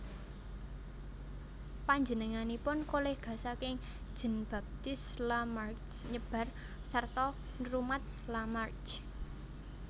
Panjenenganipun kolega saking Jean Baptiste Lamarck nyebar sarta nrumat Lamarck